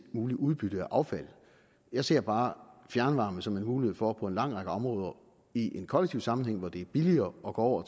mulige udbytte af affald jeg ser bare fjernvarme som en mulighed for på en lang række områder i en kollektive sammenhæng hvor det er billigere at gå